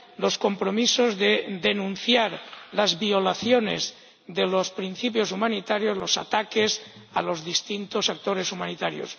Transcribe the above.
los compromisos de denunciar las violaciones de los principios humanitarios, los ataques a los distintos actores humanitarios.